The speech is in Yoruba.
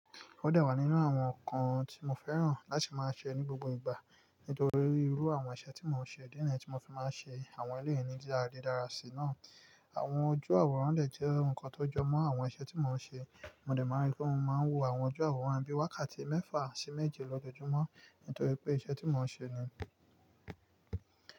Ó de wá nínú àwọn nǹkan tí mo fẹ́ràn láti máa ṣe ní gbogbo ìgbà nítorí irú àwọn iṣẹ́ tí mò ń ṣe. Idi niyii tí mo fi máa ń ṣe àwọn eleyii níbí ara lé dára sí náà. Àwọn ojú àwòrán lè jẹ́ ǹkan tó jọ mọ́ àwọn iṣẹ́ tí mò ń ṣe. Mo àe má n rí pé mo máa ń wo àwọn ojú àwòrán bií wákàtí mẹ́fà sí méje l'ojoojúmọ́ nítorí pé iṣẹ́ tí mò ń ṣe ni.